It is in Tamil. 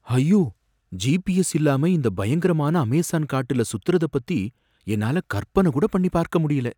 ஐயோ! ஜிபிஎஸ் இல்லாம இந்த பயங்கரமான அமேஸான் காட்டுல சுத்துறத பத்தி என்னால கற்பனை கூட பண்ணி பார்க்க முடியல